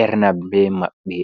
ernabe maɓɓe.